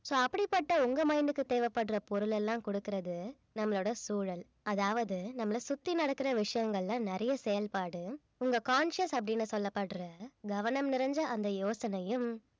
so அப்படிப்பட்ட உங்க mind க்கு தேவைப்படுற பொருளெல்லாம் கொடுக்கிறது நம்மளோட சூழல் அதாவது நம்மள சுத்தி நடக்கிற விஷயங்கள்ல நிறைய செயல்பாடு உங்க conscious அப்படின்னு சொல்லப்படுற கவனம் நிறைஞ்ச அந்த யோசனையும்